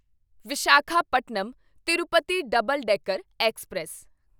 Visakhapatnam Tirupati double decker express